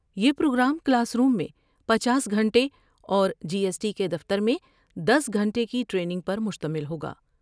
یہ programme classroom میں پچاس گھنٹے اور جی ایس ٹی کے دفتر میں دس گھنٹے کی ٹرینگ پر مشتمل ہوگا ۔